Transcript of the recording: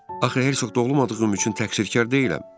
Axı hersoq doğulmadığım üçün təqsirkar deyiləm.